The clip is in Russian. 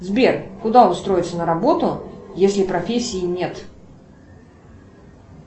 сбер куда устроиться на работу если профессии нет